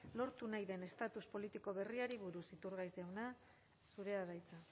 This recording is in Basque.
lortu nahi den estatus politiko berriari buruz iturgaiz jauna zurea da hitza